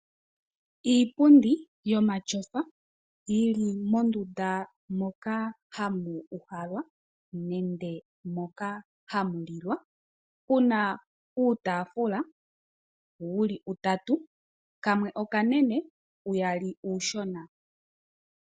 Iipundi yomatyofa yili mondunda moka hamu uhalwa nenge moka hamulilwa puna uutaafula wuli utatu kamwe okanene uyali uushona.